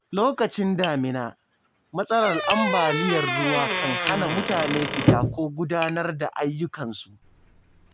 Lokacin damina, matsalar ambaliyar ruwa kan hana mutane fita ko gudanar da ayyukansu.